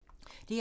DR2